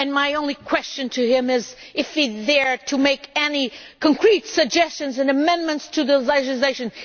My only question to him is this is he here to make any concrete suggestions or amendments to the legislation?